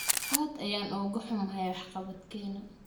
Aad ayaan uga huumahay waxqabadkeena.